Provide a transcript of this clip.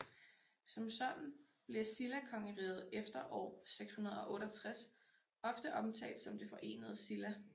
Som sådan bliver Silla kongeriget efter år 668 ofte omtalt som det Forenede Silla